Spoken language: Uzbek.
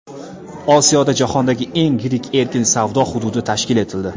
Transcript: Osiyoda jahondagi eng yirik erkin savdo hududi tashkil etildi.